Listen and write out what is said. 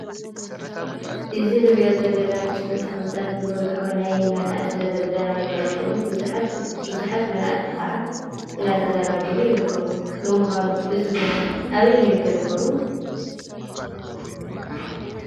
እዚ ንሪኦ ዘለና ምስሊ ተኽሊታት ዝበዝሖ ናይ መናእሰይ መዛናግዒ ኾይኑ ብዙሓት መናእሰይ ኸዓ እደተዛናግዑ ይርከቡ:: ንምኻኑ እዚ ቦታ ኣበይ ይርከብ ይኾውን ?